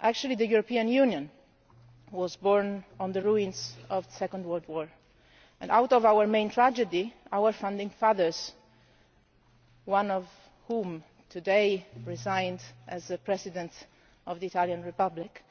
Actually the European Union was born out of the ruins of the Second World War, and out of our main tragedy our founding fathers, one of whom resigned today as President of the Italian Republic,